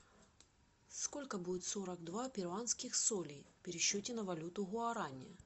сколько будет сорок два перуанских солей в пересчете на валюту гуарани